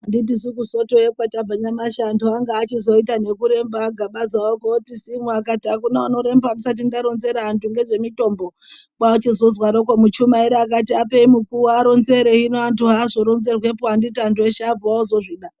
Anditisu kuSotoyo kwatabva nyamashi antu anga achizoita ngekuremba aGabaza oti simu akati akuna unoremba ndisati ndaronzera antu ngezvemitombo kwachizozwaroko muchumairi akati apei mukuwo aronzere hino antu haazoronzerwepo anditi antu eshe abva ozozvida.